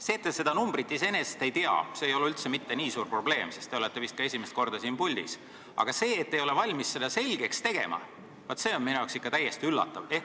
See, et te seda summat ei tea, ei ole iseenesest üldse mitte nii suur probleem, sest te olete vist ka esimest korda siin puldis, aga vaat see, et te ei ole valmis seda selgeks tegema, on minu jaoks ikka täiesti üllatav.